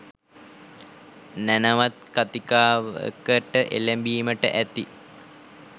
නැණවත් කතිකාවකට එළඹීමට ඇති